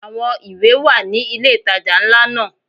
Àwọn ìwé wà ní ilé ìtajà ńlá náà.